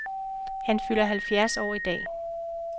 Han fylder halvfjerds år i dag.